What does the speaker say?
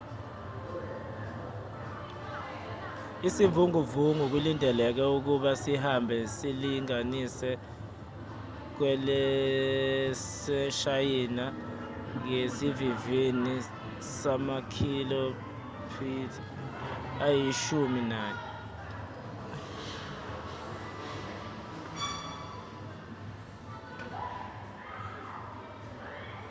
isivunguvungu kulindeleke ukuba sihambe silibangise kwelaseshayina ngesivinini sama-kph ayishumi nanye